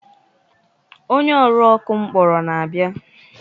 Onye ọrụ ọkụ m kpọrọ na-abịa.